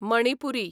Manipuri